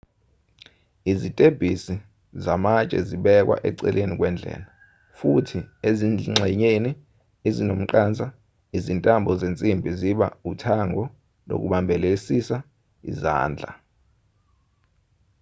izitebhisizamatshe zibekwa eceleni kwendlela futhi ezingxenyeni ezinomqansa izintambo zensimbi ziba uthango lokubambelelisa izandla